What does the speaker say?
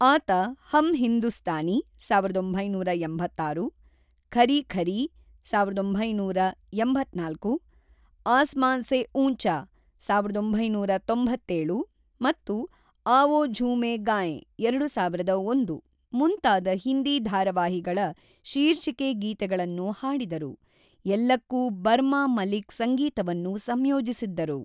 ಆತ ಹಮ್ ಹಿಂದೂಸ್ತಾನಿ (ಸಾವಿರದ ಒಂಬೈನೂರ ಎಂಬತ್ತಾರು), ಖರೀ ಖರೀ (ಸಾವಿರದ ಒಂಬೈನೂರ ಎಂಬತ್ತ್ನಾಲ್ಕು), ಆಸ್ಮಾನ್ ಸೇ ಊಂಚಾ (ಸಾವಿರದ ಒಂಬೈನೂರ ತೊಂಬತ್ತೇಳು) ಮತ್ತು ಆವೋ ಝೂಮೇ ಗಾಯೇ (ಎರಡು ಸಾವಿರದ ಒಂದು) ಮುಂತಾದ ಹಿಂದಿ ಧಾರಾವಾಹಿಗಳ ಶೀರ್ಷಿಕೆ ಗೀತೆಗಳನ್ನು ಹಾಡಿದರು, ಎಲ್ಲಕ್ಕೂ ಬರ್ಮಾ ಮಲಿಕ್‌ ಸಂಗೀತವನ್ನು ಸಂಯೋಜಿಸಿದ್ದರು.